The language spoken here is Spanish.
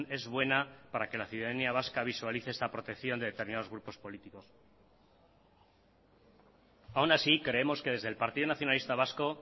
es buena para que la ciudadanía vasca visualice esta protección de determinados grupos políticos aun así creemos que desde el partido nacionalista vasco